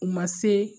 U ma se